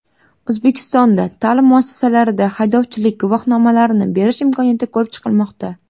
O‘zbekistonda ta’lim muassasalarida haydovchilik guvohnomalarini berish imkoniyati ko‘rib chiqilmoqda.